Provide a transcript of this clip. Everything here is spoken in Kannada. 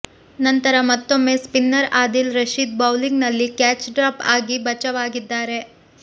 ನಂತರ ಮತ್ತೊಮ್ಮೆ ಸ್ಪಿನ್ನರ್ ಆದಿಲ್ ರಶೀದ್ ಬೌಲಿಂಗ್ ನಲ್ಲಿ ಕ್ಯಾಚ್ ಡ್ರಾಪ್ ಆಗಿ ಬಚಾವ್ ಆಗಿದ್ದಾರೆ